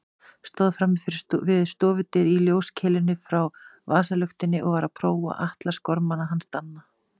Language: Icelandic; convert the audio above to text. Stóð frammi við stofudyr í ljóskeilunni frá vasaluktinni og var að prófa atlasgormana hans Danna.